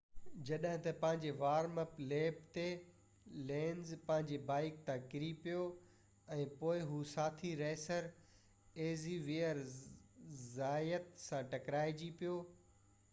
جڏهن ته پنهنجي وارم-اپ ليپ تي لينز پنهنجي بائيڪ تان ڪري پيو ۽ پوءِ هو ساٿي ريسر زيويئر زايت سان ٽڪرائجي پيو